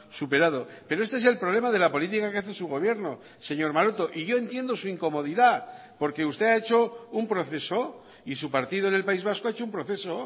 superado pero este es el problema de la política que hace su gobierno señor maroto y yo entiendo su incomodidad porque usted ha hecho un proceso y su partido en el país vasco ha hecho un proceso